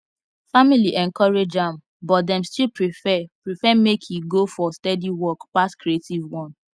family encourage am but dem still prefer prefer make e go for steady work pass creative one